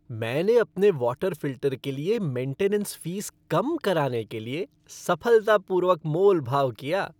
मैंने अपने water filter के लिए मेनटेनेंस फ़ीस कम कराने के लिए सफलतापूर्वक मोलभाव किया।